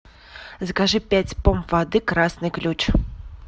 закажи пять помп воды красный ключ